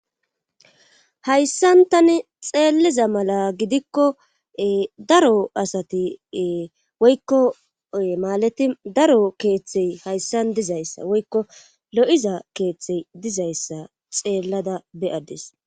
Hayssan tani xeelliza mala gidikko daro asati woykko maalati daro keeththey hayssan dizayssa woykko lo'iza keeththey dizayssa xeellada beyadis